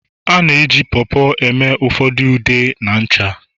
a na-eji Po Po eme ụfordo ude ah na ncha